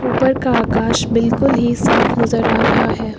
ऊपर का आकाश बिल्कुल ही साफ नजर आ रहा है।